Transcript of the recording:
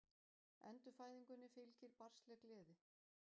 Endurfæðingunni fylgir barnsleg gleði.